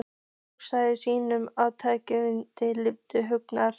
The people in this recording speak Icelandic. Hluti af skýringunni er trygglyndi líkama og hugar.